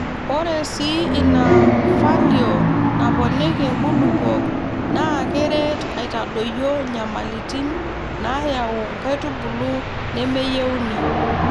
Ore sii ina falio naponiki nkulupuok, naa keret aitadoyio nyamalitin naayau nkaitubulu nemeyieuni.